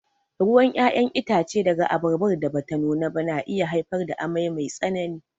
Ruwan ƴaƴan itace daga abarbar da bata nuna ba na iya haifar da amai mai tsanani.